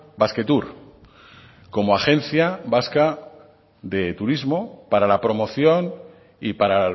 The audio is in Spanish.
basquetour como agencia vasca de turismo para la promoción y para